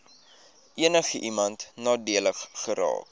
enigiemand nadelig geraak